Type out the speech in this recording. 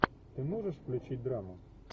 ты можешь включить драму